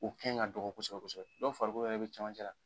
U kɛn ka dɔgɔ kosɛbɛ kosɛbɛ, dɔw farikolo yɛrɛ bɛ cɛmancɛ la.